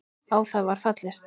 Á það var fallist.